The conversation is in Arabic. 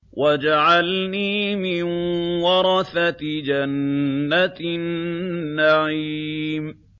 وَاجْعَلْنِي مِن وَرَثَةِ جَنَّةِ النَّعِيمِ